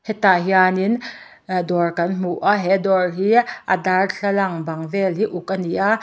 tah hianin dawr kan hmu a he dawr hi a darthlalang bang vel hi a uk ani a.